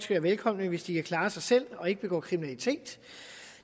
være velkomne hvis de kan klare sig selv og ikke begår kriminalitet